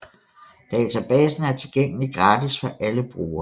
Databasen er tilgængelig gratis for alle brugere